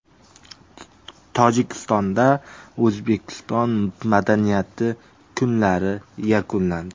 Tojikistonda O‘zbekiston madaniyati kunlari yakunlandi.